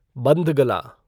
bandhgala